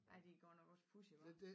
Ej det godt nok også pudsigt hva